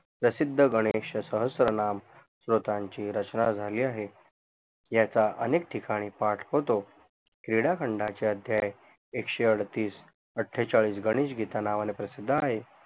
प्रसिद्ध गणेश सहस्तत्रनाम श्रोतांची रचना झाली आहे याचा अनेक ठिकाणी पाठ होतो क्रीडाखंडाचे अध्याय एकशेअडतीस अठेचाडिस गणेश गीता नावाने प्रसिद्ध आहे